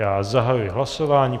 Já zahajuji hlasování.